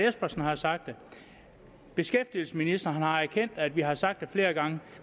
espersen har sagt det beskæftigelsesministeren har erkendt at vi har sagt det flere gange